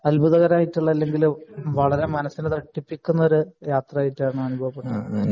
അത്ബുധകരമായിട്ടുള്ള അല്ലെങ്കിൽ വളരെ മനസ്സിന് തട്ടിപ്പിക്കുന്ന ഒരു യാത്ര ആയിട്ടാണ് അനുഭവപ്പെടുന്നത്